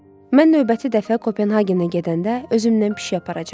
Mən növbəti dəfə Kopenhagenə gedəndə özümdən pişik aparacam.